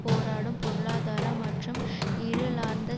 போராடும் பொருளாதாரம் மற்றும் இருளார்ந்த